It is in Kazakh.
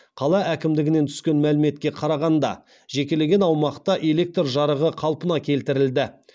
қала әкімдігінен түскен мәліметке қарағанда жекелеген аумақта электр жарығы қалпына келтірілді